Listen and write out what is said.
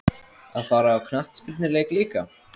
Að fara á knattspyrnuleik líka?